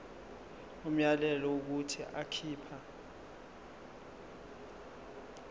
umyalelo wokuthi akhipha